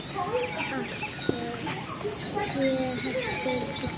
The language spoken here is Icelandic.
Andlit, tré, hestar, fuglar.